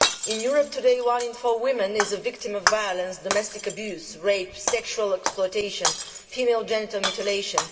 In Europe today, one in four women is a victim of violence, domestic abuse, rape, sexual exploitation, or female genital mutilation.